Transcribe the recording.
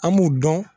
An b'u dɔn